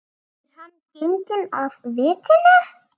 Er hann genginn af vitinu?